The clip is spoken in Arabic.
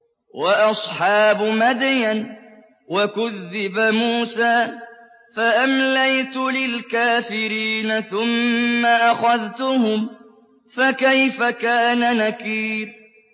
وَأَصْحَابُ مَدْيَنَ ۖ وَكُذِّبَ مُوسَىٰ فَأَمْلَيْتُ لِلْكَافِرِينَ ثُمَّ أَخَذْتُهُمْ ۖ فَكَيْفَ كَانَ نَكِيرِ